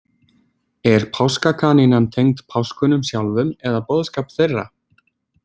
Er páskakanínan tengd páskunum sjálfum eða boðskap þeirra?